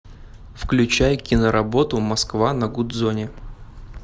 включай киноработу москва на гудзоне